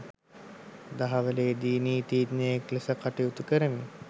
දහවලේදී නීතීඥයෙක් ලෙස කටයුතු කරමින්